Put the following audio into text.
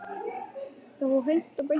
Það fór hreint og beint ekki saman.